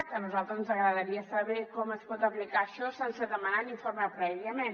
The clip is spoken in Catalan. a nosaltres ens agradaria saber com es pot aplicar això sense demanar un informe prèviament